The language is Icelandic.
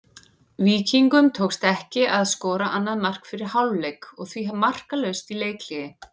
Víkingum tókst ekki að skora annað mark fyrir hálfleik og því markalaust í leikhléi.